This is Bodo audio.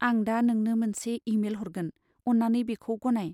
आं दा नोंनो मोनसे इमेल हरगोन। अन्नानै बेखौ गनाय।